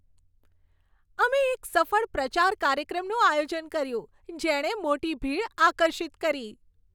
અમે એક સફળ પ્રચાર કાર્યક્રમનું આયોજન કર્યું, જેણે મોટી ભીડ આકર્ષિત કરી.